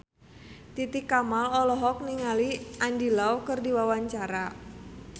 Titi Kamal olohok ningali Andy Lau keur diwawancara